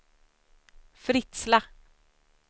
Fritsla